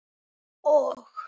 Og?